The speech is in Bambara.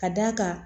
Ka d'a kan